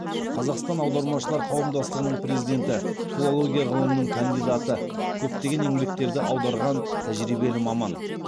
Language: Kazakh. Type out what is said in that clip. қазақстан аудармашылары қауымдастығының президенті филология ғылымының кандидаты көптеген еңбектерді аударған тәжірибелі маман